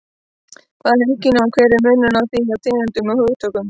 Hvað er heilkenni og hver er munurinn á því og tengdum hugtökum?